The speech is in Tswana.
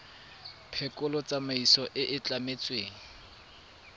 phekolo tsamaiso e e tlametsweng